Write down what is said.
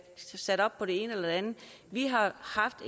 sat op på det ene eller det andet vi